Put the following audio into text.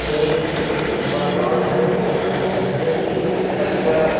यह एक मकान है जिसमें की अच्छा--